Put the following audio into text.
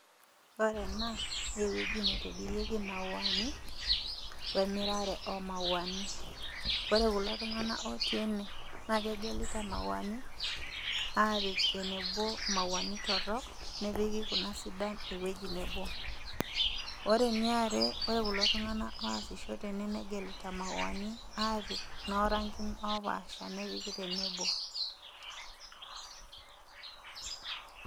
Ore ena naa ewueji naitobirieki imauani we enkitobirare o mauani. Ore kulo tung'ana ootii ene naa kegelita imauani, apik enebo imauani torok, nepiki kuna sidan ewueji nabo. Ore ene are ore kulo tung'ana osisho tene negelita imauani apik naa noo rangin opaasha apik tenebo.